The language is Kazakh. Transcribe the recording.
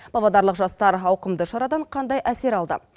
павлодарлық жастар ауқымды шарадан қандай әсер алды